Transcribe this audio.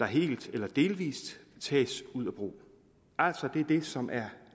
helt eller delvis ud af brug altså det er det som